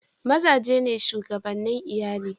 Maza ne shugabane Iyalli.